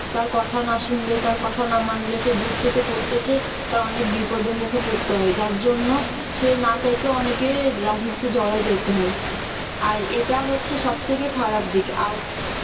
তার কথা না সুনলে তার কথা না মানলে সে দূর থেকে পড়তেছে তার অনেক বিপদের মুখে পড়তে হয় যার জন্য সে না চাইতেও অনেকে রাজনীতিতে জড়ায়ে যাইতে হয় আর এটা হচ্ছে সব থেকে খারাপ দিক আর